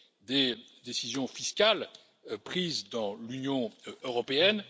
des décisions fiscales prises dans l'Union européenne.